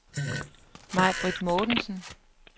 Maj-Britt Mortensen